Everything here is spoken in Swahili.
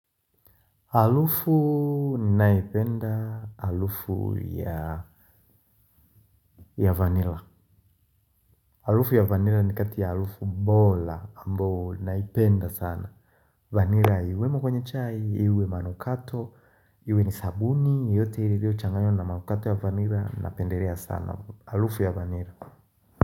Harufu naipenda harufu ya vanila haruufu ya vanila ni kati ya harufu mbola ambayo naipenda sana vanila iwemo kwenye chai, iwe manukato, iwe ni sabuni yote ilivyo changaywa na manukato ya vanila napenderea sana harufu ya vanila.